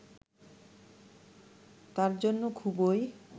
তার জন্য খুবই